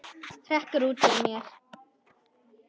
hrekkur út úr mér.